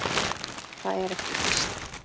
Það er ekki víst.